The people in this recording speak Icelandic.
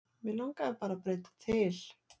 Mig langaði bara að breyta til.